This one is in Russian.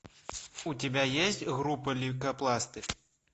у тебя есть группа лейкопластырь